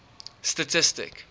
statistic